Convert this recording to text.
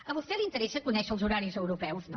a vostè li interessa conèixer els horaris europeus no